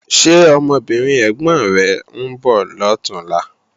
Ṣé ọmọbìnrin ẹ̀gbọ̀n rẹ̀ ń bọ̀ lọ̀túnla?